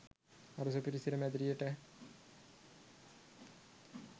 අර සුපිරි සිර මැදිරියට